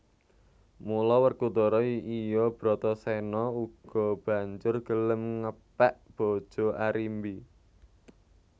Mula Werkudara iya Brataséna uga banjur gelem ngepèk bojo Arimbi